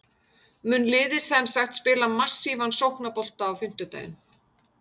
Mun liðið semsagt spila massívan sóknarbolta á fimmtudaginn?